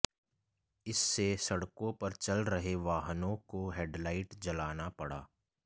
इससे सड़कों पर चल रहे वाहनों को हेडलाइट जलाना पड़ा